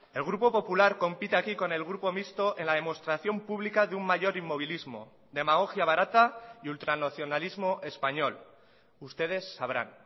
el grupo popular compite aquí con el grupo mixto en la demostración pública de un mayor inmovilismo demagogia barata y ultranacionalismo español ustedes sabrán